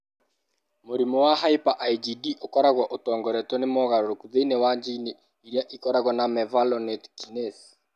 Mũrimũ wa hyper IgD ũkoragwo ũtongoretio nĩ mogarũrũku thĩinĩ wa jini ĩrĩa ĩkoragwo na mevalonate kinase (MVK).